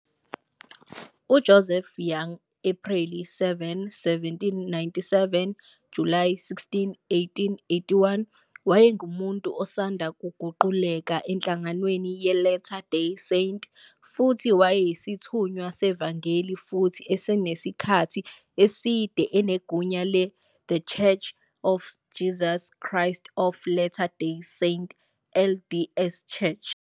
UJoseph Young, Ephreli 7, 1797 - Julayi 16, 1881, wayengumuntu osanda kuguqukela enhlanganweni ye-Latter Day Saint futhi wayeyisithunywa sevangeli futhi esinesikhathi eside enegunya le-The Church of Jesus Christ of Latter-day Saints, LDS Church.